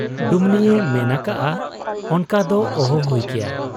ᱰᱩᱢᱱᱤᱭᱮ ᱢᱮᱱ ᱟᱠᱟᱜ ᱟ, 'ᱚᱱᱠᱟ ᱫᱚ ᱚᱦᱚ ᱦᱩᱭ ᱠᱮᱭᱟ ᱾